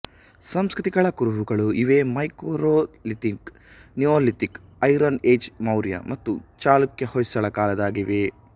ಸಂಸ್ಕೃತಿಗಳ ಕುರುಹುಗಳು ಇವೆ microlithic neolithic iron age Maurya ಮತ್ತು ಚಾಲುಕ್ಯಹೊಯ್ಸಳ ಕಾಲದಾಗಿವೆ